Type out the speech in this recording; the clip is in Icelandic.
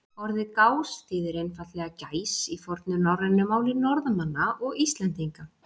Orðið gás þýðir einfaldlega gæs í fornu norrænu máli Norðmanna og Íslendinga.